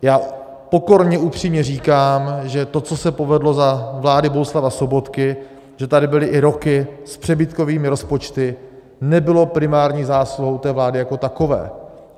Já pokorně upřímně říkám, že to, co se povedlo za vlády Bohuslava Sobotky, že tady byly i roky s přebytkovými rozpočty, nebylo primární zásluhou té vlády jako takové.